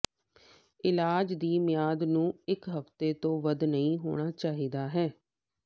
ਇਲਾਜ ਦੀ ਮਿਆਦ ਨੂੰ ਇੱਕ ਹਫ਼ਤੇ ਦੇ ਵੱਧ ਨਹੀ ਹੋਣਾ ਚਾਹੀਦਾ ਹੈ